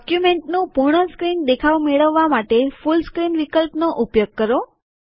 ડોક્યુમેન્ટનું પૂર્ણ સ્ક્રીન દેખાવ મેળવવા માટે ફૂલ સ્ક્રીન વિકલ્પનો ઉપયોગ કરો